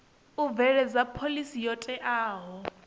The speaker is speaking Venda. u bveledza phoḽisi yo teaho